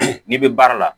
N'i bɛ baara la